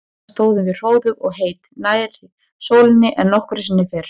Þarna stóðum við hróðug og heit, nær sólinni en nokkru sinni fyrr.